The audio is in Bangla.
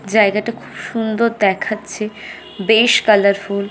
জায়গাটা খুব সুন্দর দেখাচ্ছে বেশ কালারফুল ।